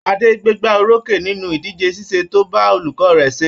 Adé gbégbá orókè nínú ìdíje ṣẹ́ẹ̀ṣì tó bá olùkọ́ rẹ̀ ṣe.